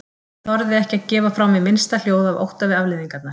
Ég þorði ekki að gefa frá mér minnsta hljóð af ótta við afleiðingarnar.